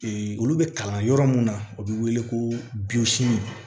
olu bɛ kalan yɔrɔ mun na o bɛ wele ko